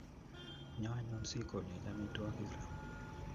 Nyo anyun sikonech amitwogik ra